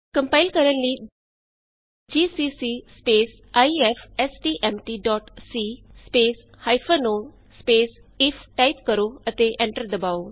compile ਕਰਨ ਲਈ GCC IFSTMT C O if GCC ifstmtਸੀ -ਓ ਆਈਐਫ ਟਾਈਪ ਕਰੋ ਅਤੇ ਐਂਟਰ ਦਬਾਉ